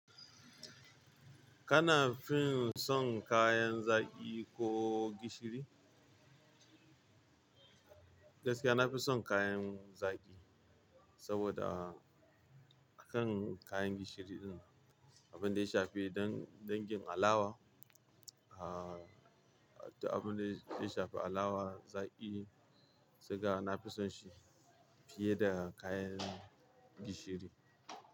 Kana fin son kayan zaki ko gishiri? Gaskiya, na fi son kayan zaki saboda akan kayan gishiri ɗin, abin da ya shafi dangin alawa, ah, du abin da ya ya shafi alawa zaki, siga na fi son shi fiye da kayan gishiri.